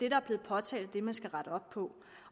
er blevet påtalt og det man skal rette op på